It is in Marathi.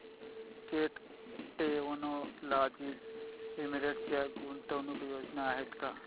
कॅट टेक्नोलॉजीज लिमिटेड च्या गुंतवणूक योजना आहेत का